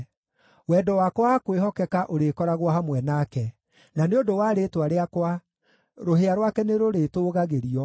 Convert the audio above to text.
Wendo wakwa wa kwĩhokeka ũrĩkoragwo hamwe nake, na nĩ ũndũ wa rĩĩtwa rĩakwa rũhĩa rwake nĩrũrĩtũũgagĩrio.